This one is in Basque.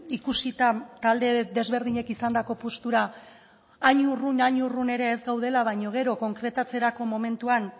ikusita talde desberdinek izandako postura hain urrun hain urrun ere ez gaudela baino gero konkretatzerako momentuan